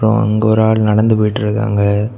அப்ரோ அங்கொரு ஆள் நடந்து போய்ட்ருக்காங்க.